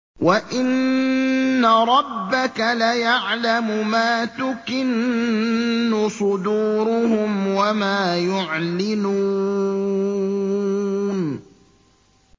وَإِنَّ رَبَّكَ لَيَعْلَمُ مَا تُكِنُّ صُدُورُهُمْ وَمَا يُعْلِنُونَ